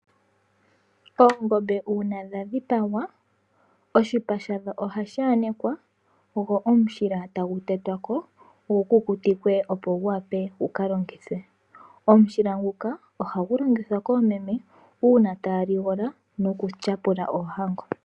Oongombe uuna dha dhipangwa, oshipa shadho oha shi yanekwa, go omushila ta gu tetwako, gu ku kutikwe opo gu vule okulongithwa. Omushila nguka oha gu longithwa koomeme, uuna ta ya ligola no ku tyapula oohango.